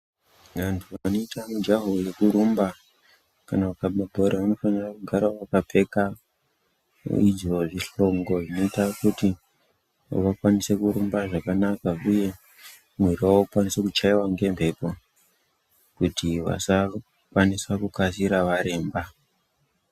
Vantu vanoita mujaho wekurumba kana kukaba bhora vanofanira kugara vakapfeka izvo zvihlongo zvinoita kuti vakwanise kurumba zvakanaka uye mwiri wavo ukwanise kutyaiwa ngemhepo kuti vasakwanisa kukasira varemba.